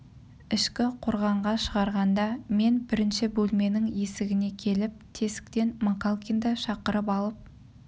ішкі қорғанға шығарғанда мен бірінші бөлменің есігіне келіп тесіктен макалкинді шақырып алып